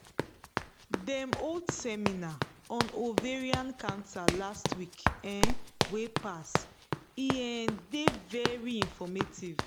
dem hold seminar on ovarian cancer last week um wey pass e um dey very informative